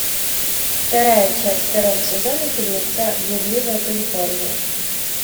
вторая часть второго сезона фильмеца блудливая калифорния